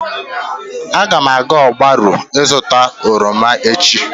Agam aga ogbaru ịzuta oroma echi